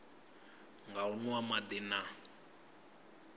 nga u nwa madi na